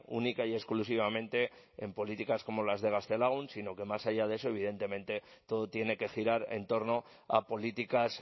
única y exclusivamente en políticas como las de gaztelagun sino que más allá de eso evidentemente todo tiene que girar en torno a políticas